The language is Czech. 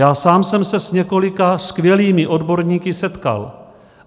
Já sám jsem se s několika skvělými odborníky setkal.